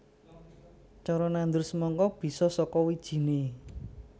Cara nandur semangka bisa saka wijiné